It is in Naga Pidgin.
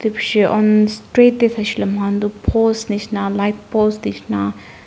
street te sai se le moi khan ti post nisna light post nisna--